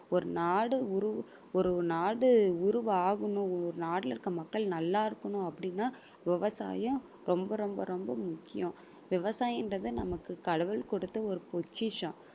ஒரு நாடு உரு~ ஒரு ஒரு நாடு உருவாகனும் ஒரு நாட்டுல இருக்க மக்கள் நல்லா இருக்கணும் அப்படின்னா விவசாயம் ரொம்ப ரொம்ப ரொம்ப முக்கியம் விவசாயம் என்றது நமக்கு கடவுள் கொடுத்த ஒரு பொக்கிஷம்